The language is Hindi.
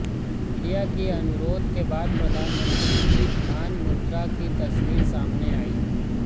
मीडिया की अनुरोध के बाद प्रधानमंत्री की ध्यान मुद्रा की तस्वीर सामने आयी